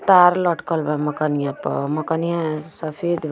तार लटकल बा मकनीया प। मकनीया सफेद ब् --